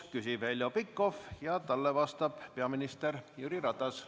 Küsib Heljo Pikhof ja talle vastab peaminister Jüri Ratas.